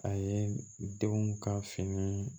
A ye denw ka fini